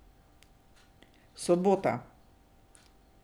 Sobota.